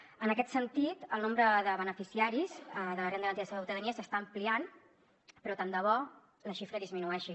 en aquest sentit el nombre de beneficiaris de la renda garantida de ciutadania s’està ampliant però tant de bo la xifra disminueixi